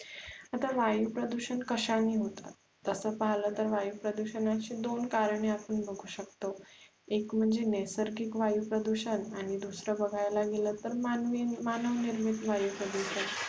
आता वायु प्रदुषण कश्याने होतात तस् पहिल तर वायु प्रदूषणाचे दोन कारणे आपण बघु शकतो एक म्हणजे नैसर्गिक वायु प्रदुषण आणि दुसरे बघायला गेल तर मानवी मानवनिर्मित वायु प्रदुषण